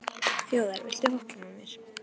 Þjóðar, viltu hoppa með mér?